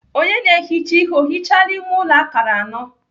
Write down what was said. Onye na-ehicha ihe ọ hichaala ime ụlọ akara anọ?